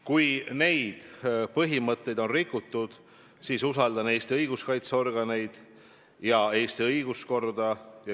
Kui neid põhimõtteid on rikutud, siis mina usaldan Eesti õiguskaitseorganeid ja Eesti õiguskorda.